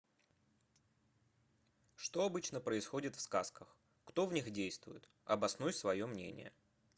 что обычно происходит в сказках кто в них действует обоснуй свое мнение